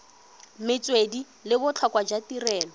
metswedi le botlhokwa jwa tirelo